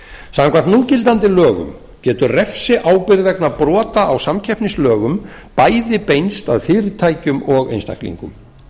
samkvæmt núgildandi lögum getur refsiábyrgð vegna brota á samkeppnislögum bæði beinst að fyrirtækjum og einstaklingum